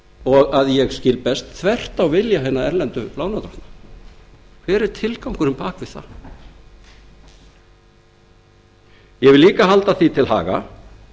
og að ég skil best þvert á vilja hinna erlendu lánardrottna hver er tilgangurinn bak við það einnig skal því haldið til haga